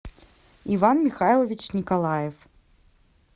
иван михайлович николаев